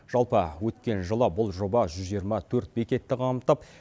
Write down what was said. жалпы өткен жылы бұл жоба жүз жиырма төрт бекетті қамтып